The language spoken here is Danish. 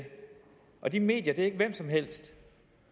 og de medier er ikke hvem som helst